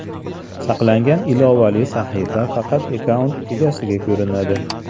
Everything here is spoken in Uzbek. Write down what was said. Saqlangan ilovali sahifa faqat akkaunt egasiga ko‘rinadi.